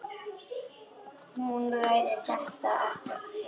Hún ræðir þetta ekkert frekar.